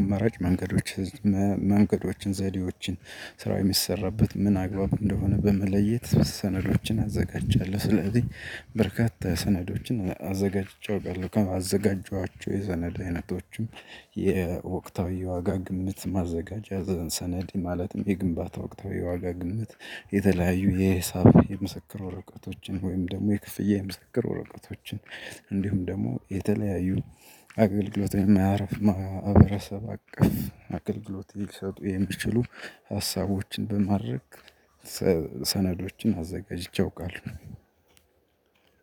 አማራጭ መንገዶች መንገዶችን ዘዴዎችን ስራ የሚሰራበት ምን አግባብ እንደሆነ በመለየት ሰነዶችን አዘጋጃለሁ። ስለዚህ በርካታ ሰነዶችን አዘጋጅቼ አውቃለሁ። ካዘጋጀኋቸው የሰነድ አይነቶችም የወቅታዊ የዋጋ ግምት ማዘጋጃ ሰነድ ማለትም የግንባታ ወቅታዊ የዋጋ ግምት የተለያዩ የሂሳብ የምስክር ወረቀቶችን ወይም ደግሞ የክፍያ የምስክር ወረቀቶችን እንዲሁም ደግሞ የተለያዩ አገልግሎት የማያርፍ ማህበረሰብ አቀፍ አገልግሎት ሊሰጡ የሚችሉ ሀሳቦችን በማድረግ። ሰነዶችን አዘጋጅቼ አውቃለሁ።